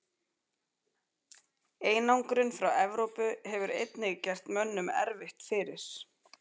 Einangrun frá Evrópu hefur einnig gert mönnum erfitt fyrir.